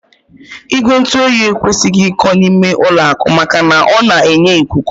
Igwe ntụoyi ekwesịghị iko n'ime ụlọakụ maka na ọ na-enye ikuku